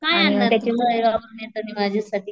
काय आणणारे तू तळेगाववरून येताना माझ्यासाठी.